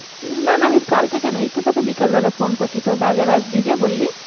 না না আমি কালকে কেন। এইতো তোকে বিকাল বেলা ফোন করছি। বাজারে আসবি যে বললি।